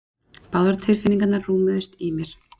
Báðar tilfinningarnar rúmuðust í mér.